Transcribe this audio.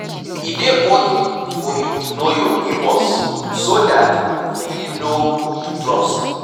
E dey okay for you to know your neigbours so dat you fit know who to trust